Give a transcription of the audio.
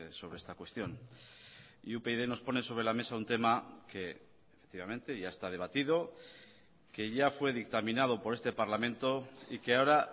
sobre esta cuestión y upyd nos pone sobre la mesa un tema que efectivamente ya está debatido que ya fue dictaminado por este parlamento y que ahora